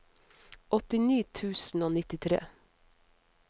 åttini tusen og nittitre